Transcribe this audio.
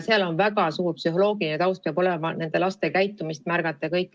Peab olema väga lai psühholoogiline taust, et nende laste käitumist märgata.